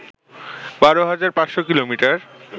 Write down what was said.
১২ হাজার ৫শ’ কিলোমিটার